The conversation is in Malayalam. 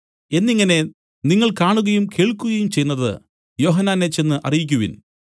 എന്നിങ്ങനെ നിങ്ങൾ കാണുകയും കേൾക്കുകയും ചെയ്യുന്നതു യോഹന്നാനെ ചെന്ന് അറിയിക്കുവിൻ